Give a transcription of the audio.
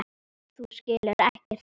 Þú skilur ekkert í þessu.